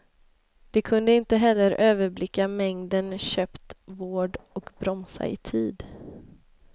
De kunde inte heller överblicka mängden köpt vård och bromsa i tid.